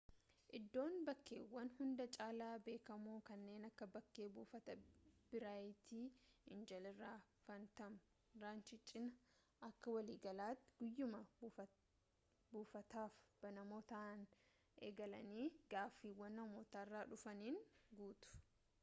iddoon bakkeewwan hunda caalaa beekamoo kanneen akka bakkee buufataa biraayit eenjel isa faantam raanchii cinaa akka waliigalaatti guyyaama buufataaf banamoo ta'anii eegalanii gaaffiiwwan namootarraa dhufaniin guutu